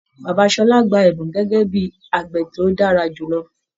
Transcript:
Bàbá Ṣọlá gbà ẹbùn gẹgẹ bíi àgbẹ̀ tó dára jùlọ.